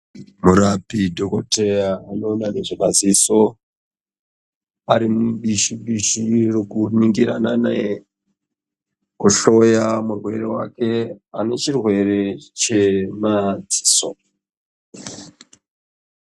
Murapi dhokoteya anoona nezvemaziso arimumbishi mbishi yokuningirana nekuhloya murwere wake ane chirwere chemadziso.